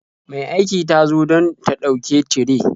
Mai aiki ta zo don ta ɗauke tire.